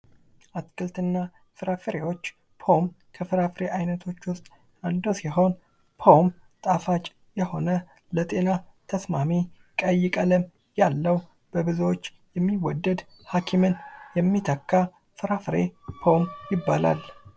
አትክልትና ፍራፍሬዎች ፖም ከፍራፍሬ አይነቶች ውስጥ አንዱ ሲሆን ፖም ጣፋጭ የሆነ ለጤና ተስማሚ ቀይ ቀለም ያለው በብዙዎች የሚወደድ ሀኪምን የሚተካ ፍራፍሬ ፖም ይባላል ::